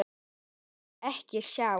Vildi ekkert sjá.